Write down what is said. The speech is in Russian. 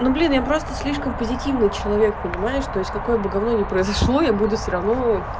ну блин я просто слишком позитивный человек понимаешь то есть какое бы гавно не произошло я буду все равно